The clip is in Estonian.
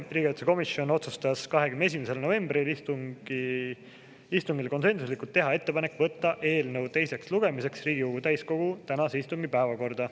Riigikaitsekomisjon otsustas 21. novembri istungil konsensuslikult teha ettepaneku võtta eelnõu teiseks lugemiseks Riigikogu täiskogu tänase istungi päevakorda.